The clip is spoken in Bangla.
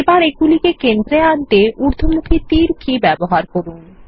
এবার এগুলিকে কেন্দ্রে আনতেউর্ধমুখীতীর কিব্যবহার করুন